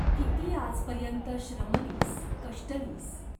किती आजपर्यंत श्रमलीस, कष्टलीस.